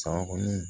San kɔni